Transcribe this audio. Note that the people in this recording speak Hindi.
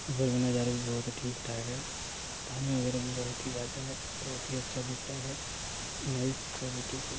ऊपर का नजारा बहुत ही ठीक ठाक है पानी वगैरह भी बहुत ही ज्यादा है बहुत ही अच्छा दिखरा है नाइस ब्यूटीफुल